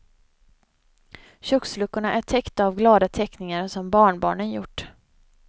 Köksluckorna är täckta av glada teckningar som barnbarnen gjort.